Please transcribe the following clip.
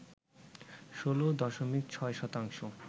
১৬ দশমিক ৬ শতাংশ